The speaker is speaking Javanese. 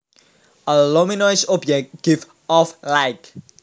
A luminous object gives off light